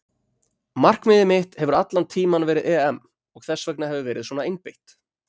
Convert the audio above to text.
Markmiðið mitt hefur allan tímann verið EM og þess vegna hef ég verið svona einbeitt.